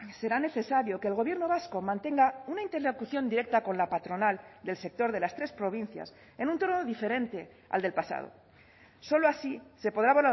será necesario que el gobierno vasco mantenga una interlocución directa con la patronal del sector de las tres provincias en un tono diferente al del pasado solo así se podrá